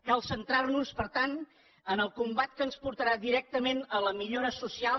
cal centrar nos per tant en el combat que ens portarà directament a la millora social